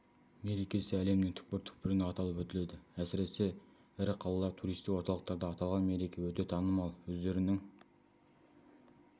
мерекесі әлемнің түкпір-түкпірінде аталып өтіледі әсіресе ірі қалалар туристік орталықтарда аталған мереке өте танымал өздерінің